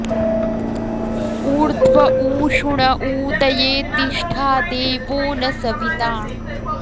ऊर्ध्व ऊ षु ण ऊतये तिष्ठा देवो न सविता